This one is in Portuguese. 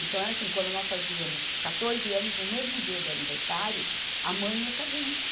Então, era assim, quando nós fazíamos quatorze anos, no mesmo dia do aniversário, a mãe ia com a gente.